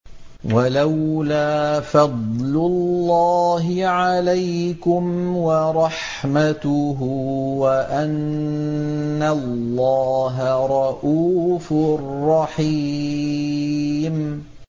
وَلَوْلَا فَضْلُ اللَّهِ عَلَيْكُمْ وَرَحْمَتُهُ وَأَنَّ اللَّهَ رَءُوفٌ رَّحِيمٌ